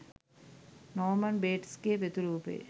නෝමන් බේට්ස්’ගෙ ප්‍රතිරූපය